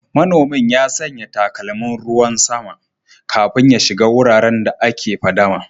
Manomin ya sanya takalmin ruwan sama kafin ya shiga wuraren da ake fadama